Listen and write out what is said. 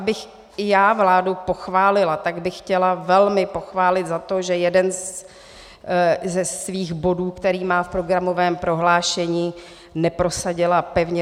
Abych i já vládu pochválila, tak bych chtěla velmi pochválit za to, že jeden ze svých bodů, který má v programovém prohlášení, neprosadila pevně.